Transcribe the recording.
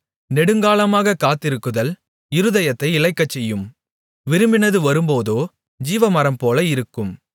நெடுங்காலமாகக் காத்திருக்குதல் இருதயத்தை இளைக்கச்செய்யும் விரும்பினது வரும்போதோ ஜீவமரம்போல இருக்கும்